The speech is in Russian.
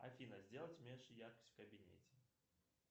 афина сделать меньше яркость в кабинете